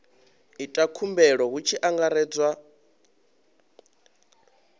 ita khumbelo hu tshi angaredzwa